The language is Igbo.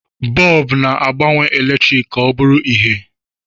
Bọọbụ na-agbanwe eletrik ka ọ bụrụ ìhè.